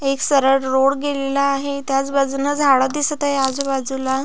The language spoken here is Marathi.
एक सरळ रोड गेलेला आहे त्याच बाजुन झाड दिसत आहे आजूबाजूला.